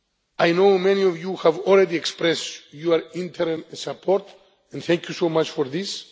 I know many of you have already expressed your interim support, and thank you so much